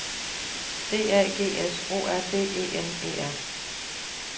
D A G S O R D E N E R